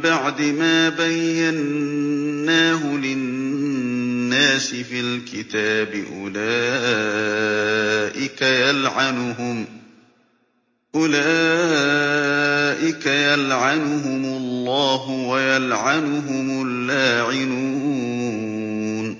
بَعْدِ مَا بَيَّنَّاهُ لِلنَّاسِ فِي الْكِتَابِ ۙ أُولَٰئِكَ يَلْعَنُهُمُ اللَّهُ وَيَلْعَنُهُمُ اللَّاعِنُونَ